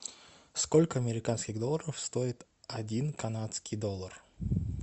сколько американских долларов стоит один канадский доллар